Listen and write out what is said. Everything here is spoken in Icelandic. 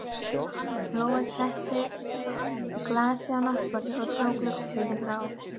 Lóa setti glasið á náttborðið og dró gluggatjöldin frá.